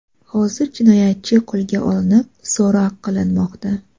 Hozir jinoyatchi qo‘lga olinib, so‘roq qilinmoqda.